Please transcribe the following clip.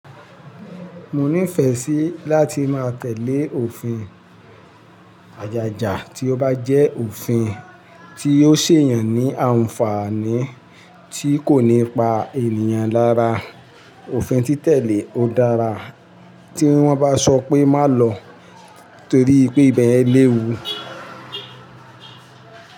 Mo nífẹẹ sí láti má tẹ̀lé òfin àjájà, tí ó bá jẹ́ òfin tí yóò sẹ̀yàn ní àǹfààní tí kò ní pa ènìyàn lára. Òfin tí tẹ̀lé ó dára tí wọ́n bá sọ pé má lọ torí pé ìbẹ̀ yẹn léwu.